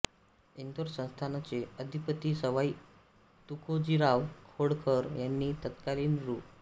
इंदोर संस्थानचे अधिपती सवाई तुकोजीराव होळकर यांनी तत्कालीन रु